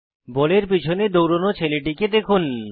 বলের পিছনে দৌড়োনো ছেলেটিকে দেখুন